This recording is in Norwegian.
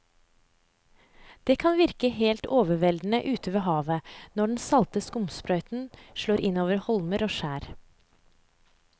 Det kan virke helt overveldende ute ved havet når den salte skumsprøyten slår innover holmer og skjær.